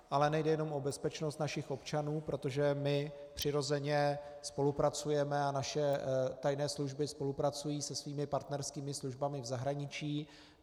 Ale nejde jenom o bezpečnost našich občanů, protože my přirozeně spolupracujeme a naše tajné služby spolupracují se svými partnerskými službami v zahraničí.